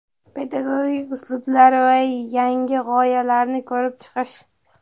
Pedagogik uslublar va yangi g‘oyalarni ko‘rib chiqish.